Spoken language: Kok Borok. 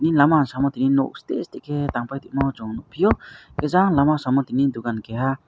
e lama ang sama timi nog site site ke tangpa tongmo chong nogpio hingke jang lama samo tini dogan keha.